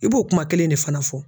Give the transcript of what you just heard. I b'o kuma kelen de fana fɔ.